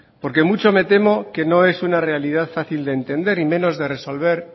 porque mucho me temo que no es una realidad fácil de entender y menos de resolver